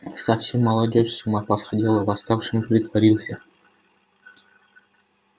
совсем молодёжь с ума посходила восставшим притворился